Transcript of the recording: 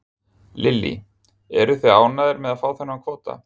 Lillý: Eruð þið ánægðir með að fá þennan kvóta?